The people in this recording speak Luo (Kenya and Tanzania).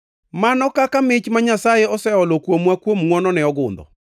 Mano kaka mich ma Nyasaye oseolo kuomwa kuom ngʼwonone ogundho.